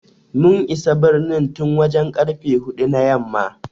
We arrived in the city since four o'clock in the evening.